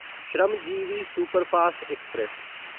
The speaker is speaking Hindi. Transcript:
Shramjeevi superfast express